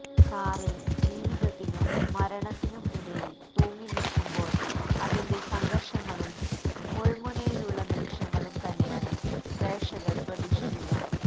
കാറില് ജീവിതത്തിനും മരണത്തിനും ഇടയില് തൂങ്ങിനില്ക്കുമ്പോള് അതിന്റെ സംഘര്ഷങ്ങളും മുള്മുനയിലുള്ള നിമിഷങ്ങളും തന്നെയാണ് പ്രേക്ഷകര് പ്രതീക്ഷിക്കുക